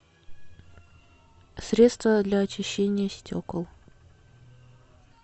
средство для очищения стекол